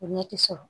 O ɲɛ ti sɔrɔ